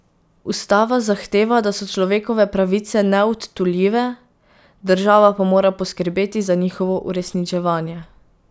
Ustava zahteva, da so človekove pravice neodtujljive, država pa mora poskrbeti za njihovo uresničevanje.